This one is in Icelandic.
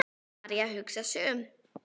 María hugsar sig um.